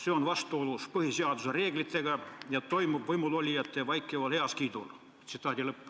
See on vastuolus põhiseaduse reeglitega ja toimub võimulolijate vaikival heakskiidul.